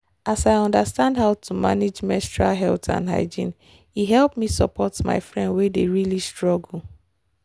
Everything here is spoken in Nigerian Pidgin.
as i understand how to manage menstrual health and hygiene e help me support my friend wen dey really struggle.